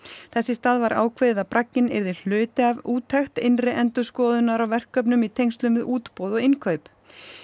þess í stað var ákveðið að bragginn yrði hluti af úttekt innri endurskoðunar á verkefnum í tengslum við útboð og innkaup